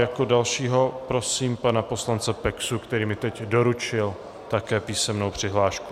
Jako dalšího prosím pana poslance Peksu, který mi teď doručil také písemnou přihlášku.